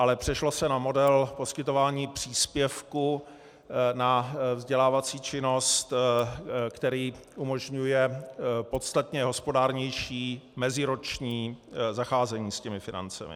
Ale přešlo se na model poskytování příspěvku na vzdělávací činnost, který umožňuje podstatně hospodárnější meziroční zacházení s těmi financemi.